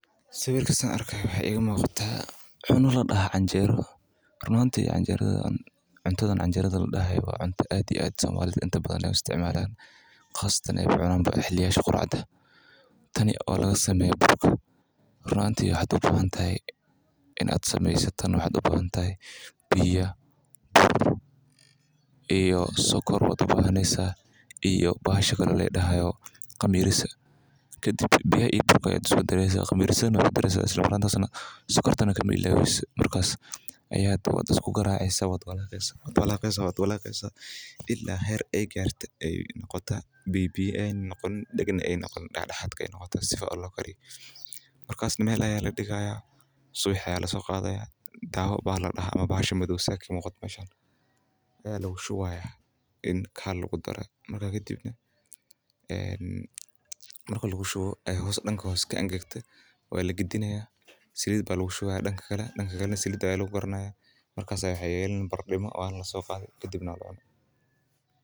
Sawirka saan arki haayo waxaa iiga muuqda cuna ladaha canjera oo somalida sait ucunaan waxaa laga sameeya bur iyo qamiir iyo sokor kadib waa la walaqaya kadib meel ayaa ladigaaya subixi ayaa lasoo qadaya kadib bahashan ayaa lagu shubaa marki aay gees ka madoobato waa lagadinaa salid ayaa lagu shubaa ilaa aay karto.